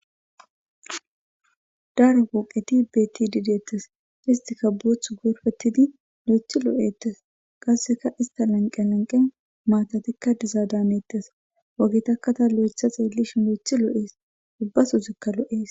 Daro poqetti betidi detees.isitkka boththu gorippetidi loyiththi lo'etees.qasekka isitta laniqenni laniqenni matatikka dizadda hanetees.ogetakka taa loyiththa xeelishin loyiththi lo'es.ubba sozikka lo'ees.